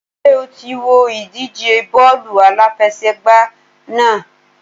Ṣé o ti wo ìdíje bọ́ọ̀lù aláfẹsẹ̀gbá náà?